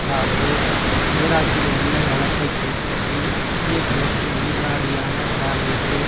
அதாவது ஈராக்கின் எண்ணெய் வளத்தை கைப்பற்றி மத்திய கிழக்கின் உயிர்நாடியான பிராந்தியத்தில்